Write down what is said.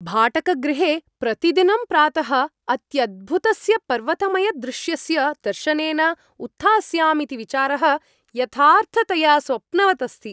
भाटकगृहे प्रतिदिनं प्रातः अत्यद्भुतस्य पर्वतमयदृश्यस्य दर्शनेन उत्थास्यामीति विचारः यथार्थतया स्वप्नवत् अस्ति।